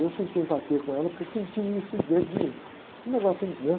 E eu senti empatia com ela, porque eu senti isso em, dentro de mim, um negócio, né?